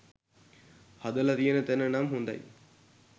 හදල තියන තෑන නම් හොදයි